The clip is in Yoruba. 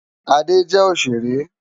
Ade jè óṣéré